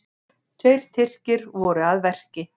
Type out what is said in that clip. Tveir Tyrkir voru að verki.